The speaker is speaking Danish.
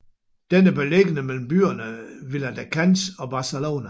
Den er beliggende mellem byerne Viladecans og Barcelona